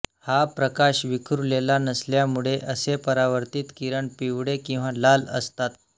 हा प्रकाश विखुरलेला नसल्यामुळे असे परावर्तीत किरण पिवळे किंवा लाल असतात